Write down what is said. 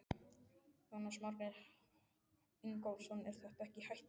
Jónas Margeir Ingólfsson: Er þetta ekkert hættulegt?